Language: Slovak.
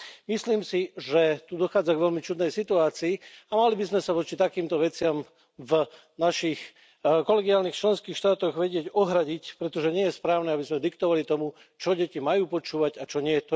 Myslím si, že tu dochádza k veľmi čudnej situácii, a mali by sme sa voči takýmto veciam v našich kolegiálnych členských štátoch vedieť ohradiť, pretože nie je správne, aby sme diktovali to, čo deti majú počúvať a čo nie.